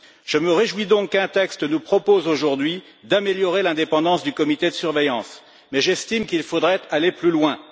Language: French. Je me réjouis donc qu'un texte nous propose aujourd'hui d'améliorer l'indépendance du comité de surveillance, mais j'estime qu'il faudrait aller plus loin.